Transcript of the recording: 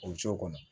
O cogo kɔnɔ